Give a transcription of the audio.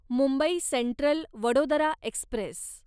Mumbai central Vadodara Express